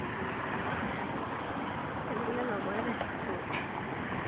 খেলিবলৈ লগৰে নাছিল সৰুতে